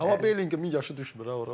Amma Belingemin yaşı düşmür ha ora.